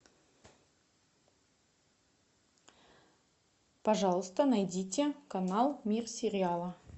пожалуйста найдите канал мир сериала